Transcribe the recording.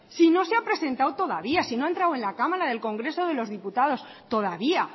si no se ha presentado todavía si no ha entrado en el cámara del congreso de los diputados todavía